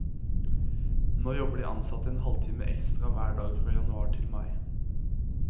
Nå jobber de ansatte en halvtime ekstra hver dag fra januar til mai.